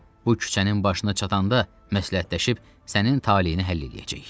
Bu küçənin başına çatanda məsləhətləşib sənin taleyini həll eləyəcək.